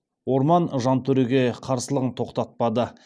орман жантөреге қарсылығын тоқтатпады